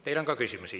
Teile on ka küsimusi.